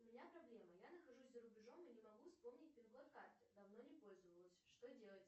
у меня проблема я нахожусь за рубежом и не могу вспомнить пин код карты давно не пользовалась что делать